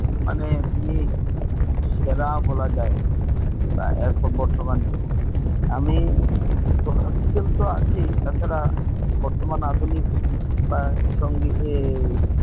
মানে তিনি সেরা বলা যায় এখন বর্তমানে আমি Classical আছেই বর্তমানে আধুনিক সঙ্গীত ইয়ে